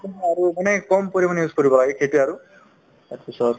আৰু মানে কম পৰিমাণে use কৰিব লাগে সেইটোয়ে আৰু তাৰপিছত